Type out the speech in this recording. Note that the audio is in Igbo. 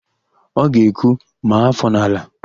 Ọ ga-ekwu, "maa áfọ̀ n'ala"!